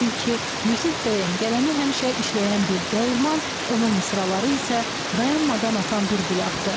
Çünki Yusif Bəyənin qələmi həmişə işləyən bir dəyirman, onun misraları isə dayanmadan axan bir bulaqdır.